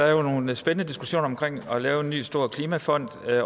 jo nogle spændende diskussioner om at lave en ny stor klimafond